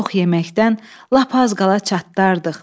Çox yeməkdən lap az qala çatdardıq.